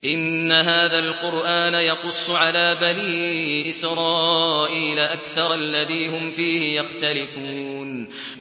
إِنَّ هَٰذَا الْقُرْآنَ يَقُصُّ عَلَىٰ بَنِي إِسْرَائِيلَ أَكْثَرَ الَّذِي هُمْ فِيهِ يَخْتَلِفُونَ